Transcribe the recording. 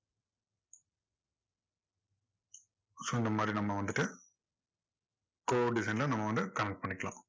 so இந்த மாதிரி நம்ம வந்துட்டு core design ல நம்ம வந்து connect பண்ணிக்கலாம்.